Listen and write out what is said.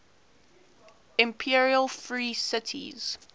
imperial free cities